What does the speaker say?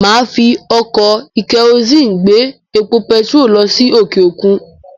Màá fi ọkọ̀-ìkẹ́rùsí gbé epo pẹtiró lọ sí òkè òkun.